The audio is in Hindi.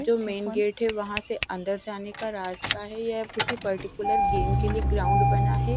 जो मेन गेट हैं वहां से अंदर जाने का रास्ता हैं यह किसी पर्टिकुलर गेम के लिए ग्राउंड बना हैं।